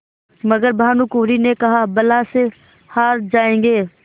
मगर भानकुँवरि ने कहाबला से हार जाऍंगे